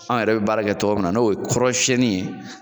An yɛrɛ be baara kɛ tɔgɔ min na n'o ye kɔrɔsɛnnin ye